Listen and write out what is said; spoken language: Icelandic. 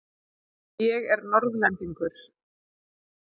Ég er Norðlendingur.